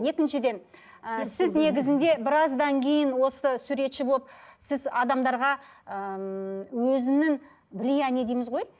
екіншіден ы сіз негізінде біраздан кейін осы суретші болып сіз адамдарға ыыы өзінің влияние дейміз ғой